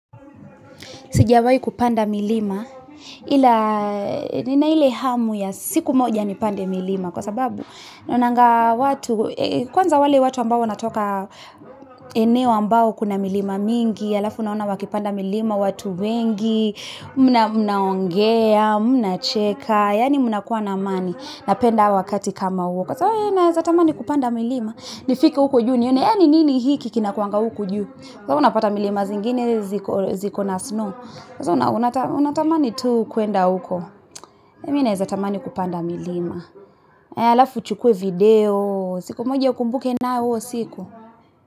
Sijiawayi kupanda milima, ila nina ile hamu ya siku moja ni pande milima Kwanza wali watu ambao wanatoka eneo ambao kuna milima mingi, alaf wana wakipanda milima watu wengi munaongea, munacheka, ya ni muna kwa na mani na penda wakati kama woko na muna naeza tamani kupanda milima, ni fiki wako juu ni yunyea ni nini hiiki kina kwa wanga wako juu na muna pata milima zingine ziko na snow sasa munanaeza tamani tuu kundu wako naeza tamani kupanda milima ya alaf uchukuw video, siku moja ni kumbuke nao wako siku.